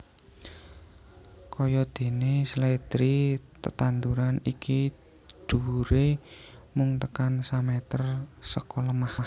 Kayadéné sledri tetanduran iki dhuwuré mung tekan sameter seka lemah